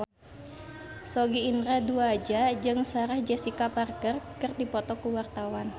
Sogi Indra Duaja jeung Sarah Jessica Parker keur dipoto ku wartawan